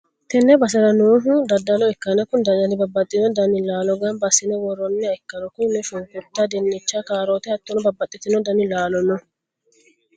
tenne basera noohu daddalo ikkanna, kuni daddali babbaxxino dani laalo gamba assi'ne worroonniwa ikkanna, kunino, shunkurta, dinnicha, kaaroote hattono babbaxxitino dani laalo no.